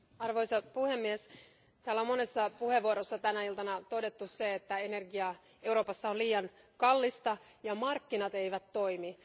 Arvoisa puhemies, täällä on monessa puheenvuorossa tänä iltana todettu se, että energia Euroopassa on liian kallista ja markkinat eivät toimi.